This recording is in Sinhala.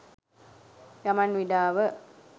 ගමන් විඩාව